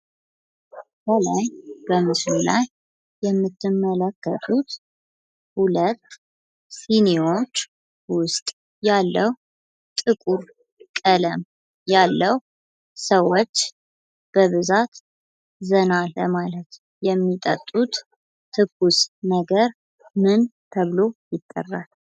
ከላይ በምስሉ ላይ የምትመለከቱት ሁለት ሲኒዎች ውስጥ ያለ ጥቁር ቀለም ያለው ሰዎች በብዛት ዘና ለማለት የሚጠጡት ምን ተብሎ ይጠራል?